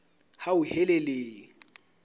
hauhelele